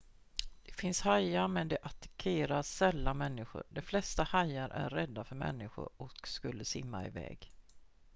det finns hajar men de attackerar sällan människor de flesta hajar är rädda för människor och skulle simma iväg